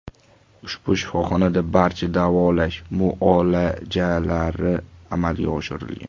Ushbu shifoxonada barcha davolash muolajalari amalga oshirilgan.